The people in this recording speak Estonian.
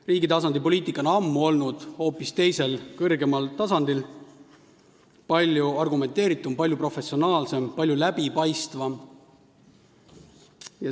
Riigi poliitika on ammu olnud hoopis teisel, kõrgemal tasandil, palju argumenteeritum, palju professionaalsem, palju läbipaistvam.